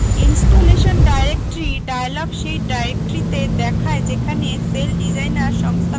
installation directory dialog সেই ডাইরেক্টরীতে দেখায় যেখানে celldesigner সংস্থাপিত হবে